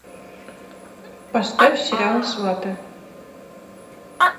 поставь сериал сваты